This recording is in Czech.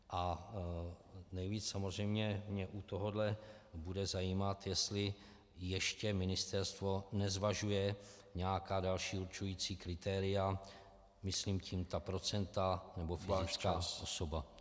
A nejvíc samozřejmě mě u tohohle bude zajímat, jestli ještě ministerstvo nezvažuje nějaká další určující kritéria, myslím tím ta procenta nebo fyzická osoba.